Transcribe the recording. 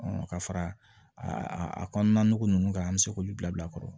ka fara a kɔnɔna nɔgɔ ninnu kan an bɛ se k'olu bila bila a kɔrɔ